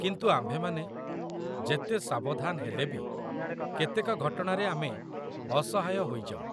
କିନ୍ତୁ ଆମ୍ଭେମାନେ ଯେତେ ସାବଧାନ ହେଲେବି, କେତେକ ଘଟଣାରେ ଆମେ ଅସହାୟ ହୋଇଯାଉ